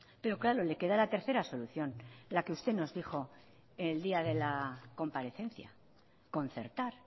pero claro le queda la tercera solución la que usted nos dijo en el día de la comparecencia concertar